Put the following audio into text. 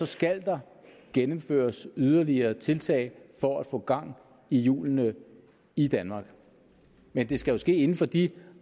skal der gennemføres yderligere tiltag for at få gang i hjulene i danmark men det skal ske inden for de